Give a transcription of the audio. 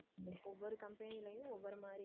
ஒவ்வொரு company யும் ஒவ்வொரு மாதிரி ஆனா.